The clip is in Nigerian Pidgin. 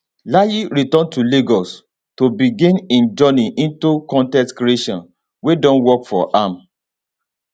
layi return to lagos to begin im journey into con ten t creation wey don work for am